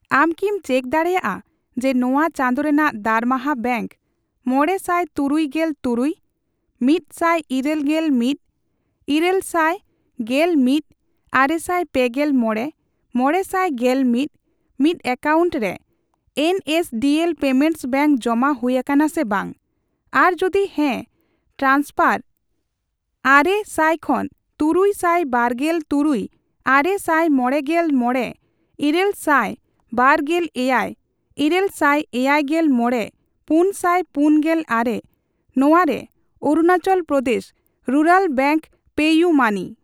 ᱟᱢ ᱠᱤᱢ ᱪᱮᱠ ᱫᱟᱲᱮᱭᱟᱜᱼᱟ ᱡᱮ ᱱᱚᱣᱟ ᱪᱟᱸᱫᱳ ᱨᱮᱱᱟᱜ ᱫᱟᱨᱢᱟᱦᱟ ᱵᱮᱝᱠ ᱢᱚᱲᱮ ᱥᱟᱭ ᱛᱩᱨᱩᱭ ᱜᱮᱞ ᱛᱩᱨᱩᱭ ,ᱢᱤᱛ ᱥᱟᱭ ᱤᱨᱟᱹᱞ ᱜᱮᱞ ᱢᱤᱛ ,ᱤᱨᱟᱹᱞ ᱥᱟᱤ ᱜᱮᱞ ᱢᱤᱛ ,ᱟᱨᱮᱥᱟᱭ ᱯᱮᱜᱮᱞ ᱢᱚᱲᱮ , ᱢᱚᱲᱮ ᱥᱟᱭ ᱜᱮᱞ ᱢᱤᱛ ,ᱢᱤᱛ ᱮᱠᱟᱣᱩᱱᱴ ᱨᱮ ᱮᱱᱮᱥᱰᱤᱮᱞ ᱯᱮᱢᱮᱱᱴᱥ ᱵᱮᱝᱠ ᱡᱚᱢᱟ ᱦᱩᱭ ᱟᱠᱟᱱᱟ ᱥᱮ ᱵᱟᱝ, ᱟᱨ ᱡᱩᱫᱤ ᱦᱮᱸ ᱴᱨᱟᱱᱥᱯᱷᱟᱨ 900 ᱠᱷᱚᱱ ᱛᱩᱨᱩᱭ ᱥᱟᱭ ᱵᱟᱨᱜᱮᱞ ᱛᱩᱨᱩᱭ , ᱟᱨᱮ ᱥᱟᱭ ᱢᱚᱲᱮᱜᱮᱞ ᱢᱚᱲᱮ, ᱤᱨᱟᱹᱞ ᱥᱟᱭ ᱵᱟᱨ ᱜᱮᱞ ᱮᱭᱟᱭ ,ᱤᱨᱟᱹᱞ ᱥᱟᱭ ᱮᱭᱟᱭ ᱜᱮᱞ ᱢᱚᱲᱮ ,ᱯᱩᱱ ᱥᱟᱭ ᱯᱩᱱ ᱜᱮᱞ ᱟᱨᱮ ᱱᱚᱣᱟ ᱨᱮ ᱚᱨᱩᱱᱟᱪᱚᱞ ᱯᱨᱚᱫᱮᱥ ᱨᱩᱨᱟᱞ ᱵᱮᱝᱠ ᱯᱮᱤᱭᱩᱢᱟᱹᱱᱤ ?